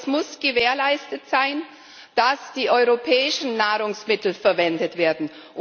Aber es muss gewährleistet sein, dass die europäischen Nahrungsmittel verwendet werden.